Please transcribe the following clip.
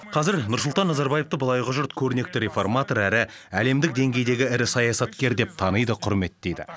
қазір нұрсұлтан назарбаевты былайғы жұрт көрнекті реформатор әрі әлемдік деңгейдегі ірі саясаткер деп таниды құрметтейді